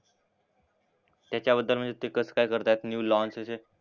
त्याच्याबद्दल म्हणजे ते कसं काय करतात न्यू लॉन्च असे.